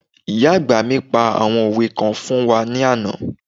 Ìyá àgbà mi pa àwọn òwe kan fún wa ní àná